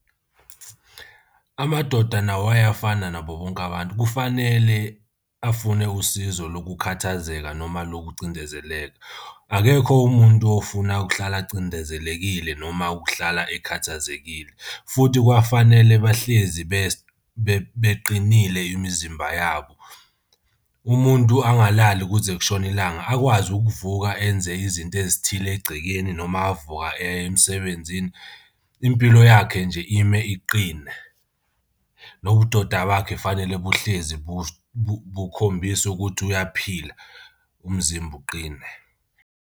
Amadoda nawo ayafana nabo bonke abantu kufanele afune usizo lokukhathazeka noma lokucindezeleka. Akekho umuntu ofuna ukuhlala acindezelekile noma ukuhlala ekhathazekile futhi kwafanele bahlezi beqinile imizimba yabo. Umuntu angalali kuze kushone ilanga akwazi ukuvuka enze izinto ezithile egcekeni noma avuka eyemsebenzini. Impilo yakhe nje ime iqine, nobudoda bakho fanele buhlezi bukhombisa ukuthi uyaphila umzimba uqine.